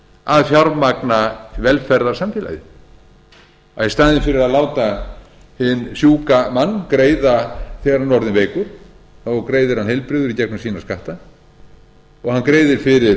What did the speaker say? að fjármagna velferðarsamfélagið að í staðinn fyrir að láta hinn sjúka mann greiða þegar hann er orðinn veikur greiðir hann heilbrigður í gegnum sína skatta og hann greiðir fyrir